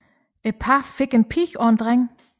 Parret fik en pige og en dreng